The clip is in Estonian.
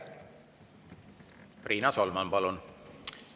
Riina Solman, palun!